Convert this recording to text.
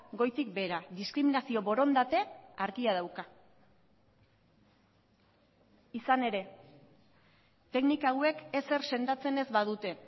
goitik behera diskriminazio borondate argia dauka izan ere teknika hauek ezer sendatzen ez badute